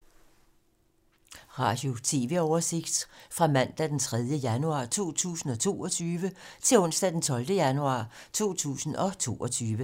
Radio/TV oversigt fra mandag d. 3. januar 2022 til onsdag d. 12. januar 2022